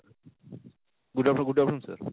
good afternoon, good afternoon sir